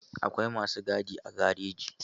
Akwai masu gadi a gareji